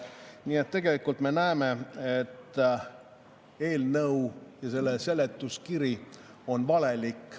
Nii et tegelikult me näeme, et eelnõu ja selle seletuskiri on valelik.